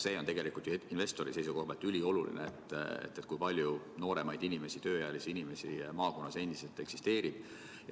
See on tegelikult ju investori seisukohalt ülioluline, kui palju nooremaid inimesi, tööealisi inimesi maakonnas eksisteerib.